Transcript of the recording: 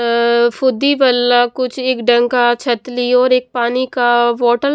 अअअ फुदी बल्ला कुछ एक डंका छतली और एक पानी का बोटल --